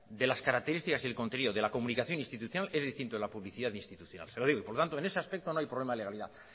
de las características y el contenido de la comunicación institucional es distinto de la publicidad institucional se lo digo y por lo tanto en ese aspecto no hay problema de legalidad